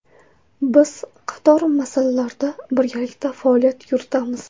Biz qator masalalarda birgalikda faoliyat yuritamiz.